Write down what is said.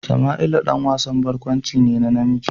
Sama'ila ɗan wasan barkwanci ne na namiji.